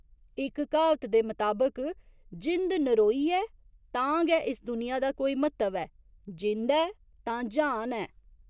इक क्हावत दे मताबक जिंद नरोई ऐ तां गै इस दुनिया दा कोई म्हत्तव ऐ जिंद ऐ तां ज्हान ऐ।